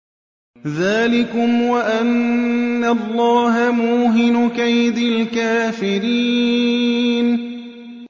ذَٰلِكُمْ وَأَنَّ اللَّهَ مُوهِنُ كَيْدِ الْكَافِرِينَ